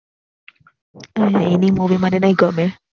પણ એની Movie મને નઈ ગમે